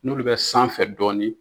N'olu bɛ sanfɛ dɔɔni.